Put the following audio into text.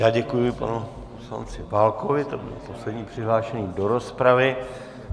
Já děkuji panu poslanci Válkovi, to byl poslední přihlášený do rozpravy.